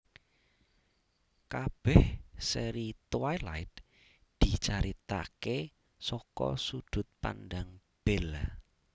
Kabèh sèri Twilight dicaritaké saka sudut pandang Bella